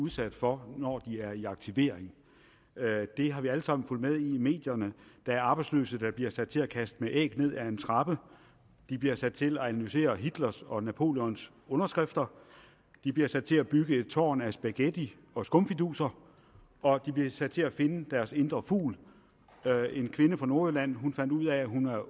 udsat for når de er i aktivering det har vi alle sammen fulgt med i i medierne der er arbejdsløse der bliver sat til at kaste med æg ned ad en trappe de bliver sat til at analysere hitlers og napoleons underskrifter de bliver sat til at bygge et tårn af spaghetti og skumfiduser og de bliver sat til at finde deres indre fugl en kvinde fra nordjylland fandt ud af at hun var